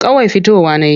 Kawai fitowa na yi.